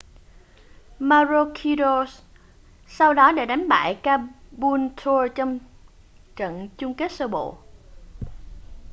maroochydore sau đó đã đánh bại caboolture trong trận chung kết sơ bộ